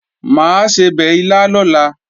Mà á sebẹ̀ ilá lọ́la